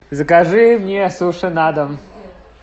закажи мне суши на дом